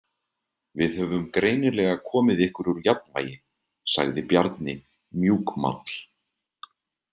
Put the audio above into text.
Við höfum greinilega komið ykkur úr jafnvægi, sagði Bjarni mjúkmáll.